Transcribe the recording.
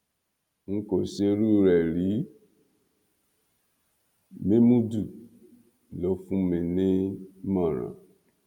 n kò ṣerú rẹ rí mémúdù ló fún mi nímọràn